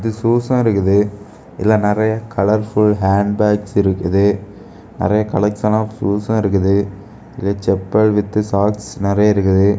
ஷூசும் இருக்குது இதுல நெறைய கலர் ஃபுல் ஹாண்ட் பேக்ஸ் இருக்குது நெறைய கலெக்சன் ஆஃப் ஷூசும் இருக்குது இது செப்பல் வித் சாக்ஸ் நெறைய இருக்குது.